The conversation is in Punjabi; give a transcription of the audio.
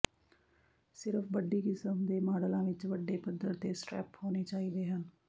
ਸਿਰਫ ਬੱਡੀ ਕਿਸਮ ਦੇ ਮਾਡਲਾਂ ਵਿੱਚ ਵੱਡੇ ਪੱਧਰ ਤੇ ਸਟ੍ਰੈਪ ਹੋਣੇ ਚਾਹੀਦੇ ਹਨ